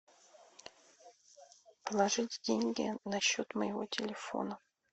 положить деньги на счет моего телефона